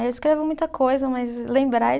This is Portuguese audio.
Aí eu escrevo muita coisa, mas lembrar é